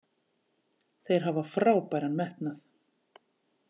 Þeir hafa frábæran metnað.